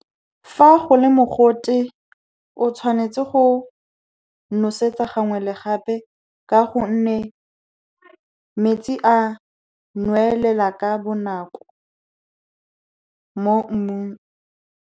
Fa go le mogote, o tshwanetse go nosetsa gangwe le gape ka gonne, metsi a nwelela ka bonako mo mmung.